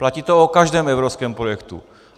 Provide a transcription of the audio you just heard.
Platí to o každém evropském projektu.